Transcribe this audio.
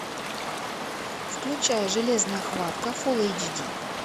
включай железная хватка фул эйч ди